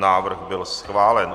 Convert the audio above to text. Návrh byl schválen.